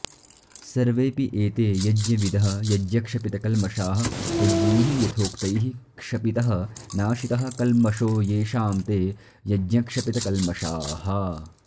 सर्वेऽपि एते यज्ञविदः यज्ञक्षपितकल्मषाः यज्ञैः यथोक्तैः क्षपितः नाशितः कल्मषो येषां ते यज्ञक्षपितकल्मषाः